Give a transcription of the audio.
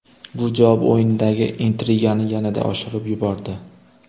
Bu javob o‘yinidagi intrigani yanada oshirib yubordi.